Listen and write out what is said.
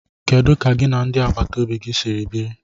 Kedu ka gị na ndị agbata obi gi si biri?